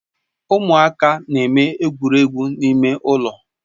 Ụmụaka na-eme egwuregwu ime ụlọ